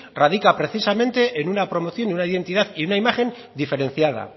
radica precisamente en una promoción una identidad y una imagen diferenciada